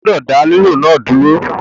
O gbọdọ da lilu náà duro!